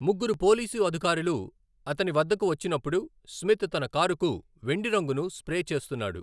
ముగ్గురు పోలీసు అధికారులు అతని వద్దకు వచ్చినప్పుడు స్మిత్ తన కారుకు వెండి రంగును స్ప్రే చేస్తున్నాడు.